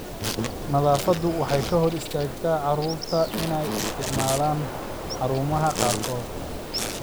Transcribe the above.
Naafadu waxay ka hor istaagtaa carruurta inay isticmaalaan xarumaha qaarkood.